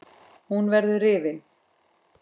Hann verður rifinn.